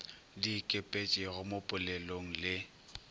di ikepetpego mo polelong le